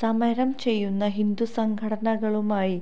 സമരം ചെയ്യുന്ന ഹിന്ദുസംഘടനകളുമായി